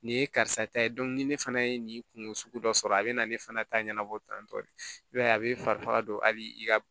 Nin ye karisa ta ye ni ne fana ye nin kungo sugu dɔ sɔrɔ a bi na ne fana ta ɲɛnabɔ tantɔ de i b'a ye a be fari faga don a bi i ka